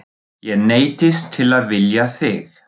Ég neyddist til að vilja þig.